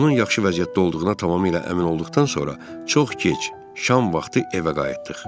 Onun yaxşı vəziyyətdə olduğuna tamamilə əmin olduqdan sonra çox gec şam vaxtı evə qayıtdıq.